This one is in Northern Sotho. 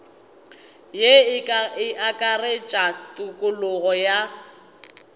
ye e akaretša tokologo ya